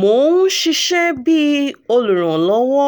mo n ṣiṣẹ bi oluranlọwọ